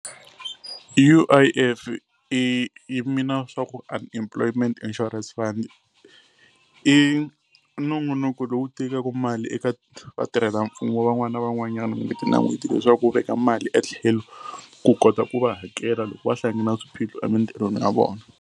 U_I_F i yi mean-a swa ku Unemployment Insurance Fund. I nongonoko lowu tekaku mali eka vatirhela mfumo van'wani na van'wanyana n'hweti na n'hweti leswaku wu veka mali etlhelo ku kota ku va hakela loko va hlangana na swiphiqo emitirhweni ya vona.